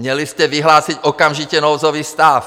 Měli jste vyhlásit okamžitě nouzový stav!